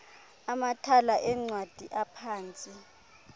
amathala eencwadi aphantsi